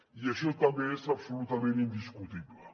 i això també és absolutament indiscutible